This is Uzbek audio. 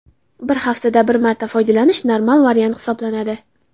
Bir haftada bir marta foydalanish normal variant hisoblanadi.